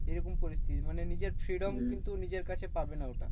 এরকম পরিস্থিতি, মানে নিজের freedom কিন্তু নিজের কাছে পাবে না ওটা।